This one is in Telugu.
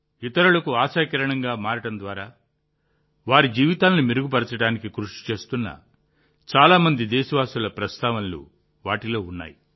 ఇతరులకు ఆశాకిరణంగా మారడం ద్వారా వారి జీవితాలను మెరుగుపరచడానికి కృషి చేస్తున్న చాలా మంది దేశవాసుల ప్రస్తావనలు వాటిలో ఉన్నాయి